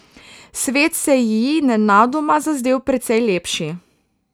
Svet se ji nenadoma zazdel precej lepši.